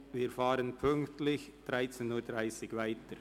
Wir fahren pünktlich um 13.30 Uhr weiter.